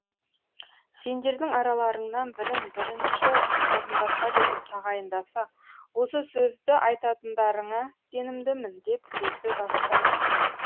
сендердің араларыңнан бірін бірінші орынбасар етіп тағайындаса осы сөзді айтатындарыңа сенімдімін деп сөзді бастаймын